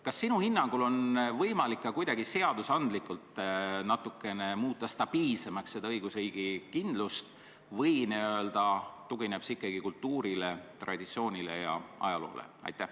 Kas sinu hinnangul on võimalik ka seadusandlikult seda õigusriigi kindlust kuidagi natukene stabiilsemaks muuta või tugineb see ikkagi kultuurile, traditsioonile ja ajaloole?